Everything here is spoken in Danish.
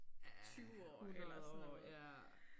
Ja 100 år ja